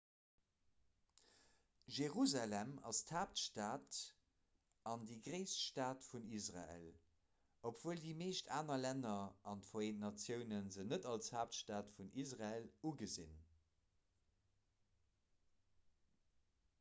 jerusalem ass d'haaptstad an déi gréisst stad vun israel obwuel déi meescht aner länner an d'vereent natioune se net als haaptstad vun israel ugesinn